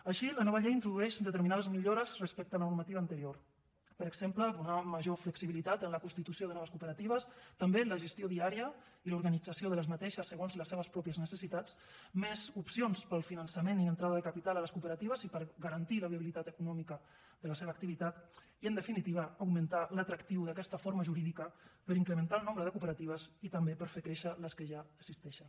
així la nova llei introdueix determinades millores respecte a la normativa anterior per exemple donar major flexibilitat en la constitució de noves cooperatives també en la gestió diària i en l’organització d’aquestes segons les seves pròpies necessitats més opcions per al finançament i l’entrada de capital a les cooperatives i per garantir la viabilitat econòmica de la seva activitat i en definitiva augmentar l’atractiu d’aquesta forma jurídica per incrementar el nombre de cooperatives i també per fer créixer les que ja existeixen